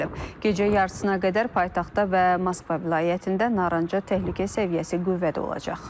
Gecə yarısına qədər paytaxtda və Moskva vilayətində narıncı təhlükə səviyyəsi qüvvədə olacaq.